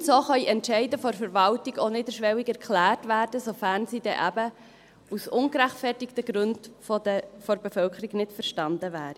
Und: So können Entscheide der Verwaltung auch niederschwelliger geklärt werden, sofern sie eben aus ungerechtfertigten Gründen von der Bevölkerung nicht verstanden würden.